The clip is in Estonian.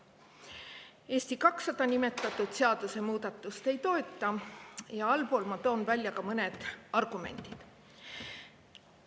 Eesti 200 seda seadusemuudatust ei toeta ja allpool ma toon välja ka mõned argumendid.